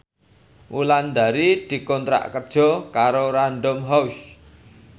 Wulandari dikontrak kerja karo Random House